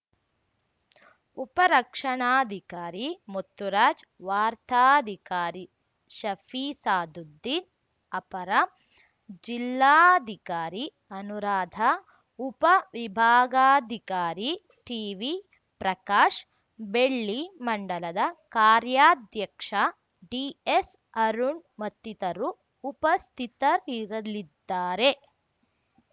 ಉಪ ರಕ್ಷಣಾಧಿಕಾರಿ ಮುತ್ತುರಾಜ್‌ ವಾರ್ತಾಧಿಕಾರಿ ಶಫಿಸಾದುದ್ದೀನ್‌ ಅಪರ ಜಿಲ್ಲಾಧಿಕಾರಿ ಅನುರಾಧಾ ಉಪ ವಿಭಾಗಾಧಿಕಾರಿ ಟಿವಿ ಪ್ರಕಾಶ್‌ ಬೆಳ್ಳಿ ಮಂಡಲದ ಕಾರ್ಯಾಧ್ಯಕ್ಷ ಡಿಎಸ್‌ಅರುಣ್‌ ಮತ್ತಿತರರು ಉಪಸ್ಥಿತರಿರಲಿದ್ದಾರೆ